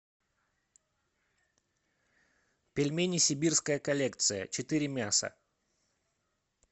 пельмени сибирская коллекция четыре мяса